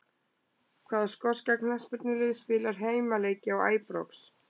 Hvaða skoska knattspyrnulið spilar heimaleiki á Æbrox?